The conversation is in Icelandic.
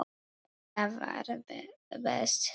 Þetta var best svona.